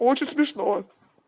очень смешно